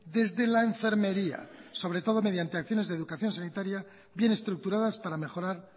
desde la enfermería sobre todo mediante acciones de educación sanitaria bien estructuradas para mejorar